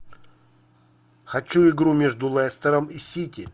хочу игру между лестером и сити